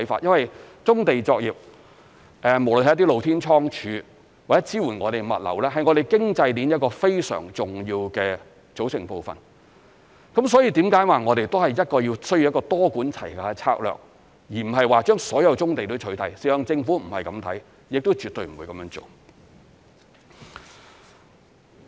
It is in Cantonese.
因為棕地作業，無論是一些露天倉儲或支援物流，是我們經濟鏈一個非常重要的組成部分，所以這是為何我們說需要一個多管齊下的策略，而不是把所有棕地都取締，事實上政府不是這樣看，亦絕對不會這樣做。